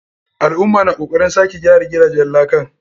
Al'umma na kokaren sake gyara gidajen lakan.